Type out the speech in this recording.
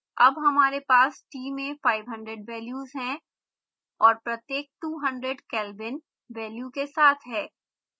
अब हमारे पास t में 500 वेल्यूज है और प्रत्येक 200 kelvin वेल्यू के साथ है